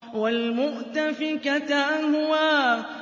وَالْمُؤْتَفِكَةَ أَهْوَىٰ